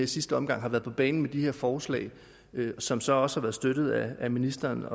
sidste omgang været på banen med de her forslag som så også har været støttet af ministeren